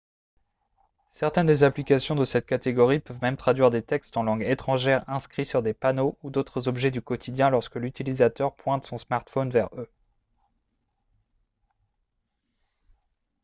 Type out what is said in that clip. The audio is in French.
certaines des applications de cette catégorie peuvent même traduire des textes en langue étrangère inscrits sur des panneaux ou d'autres objets du quotidien lorsque l'utilisateur pointe son smartphone vers eux